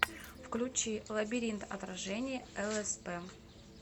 включи лабиринт отражений лсп